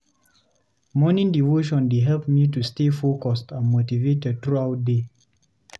Morning devotion dey help me to stay focused and motivated throughout day.